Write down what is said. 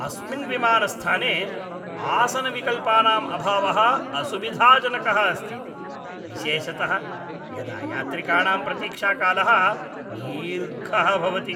अस्मिन् विमानस्थाने आसनविकल्पानां अभावः असुविधाजनकः अस्ति, विशेषतः यदा यात्रिकाणां प्रतीक्षाकालः दीर्घः भवति।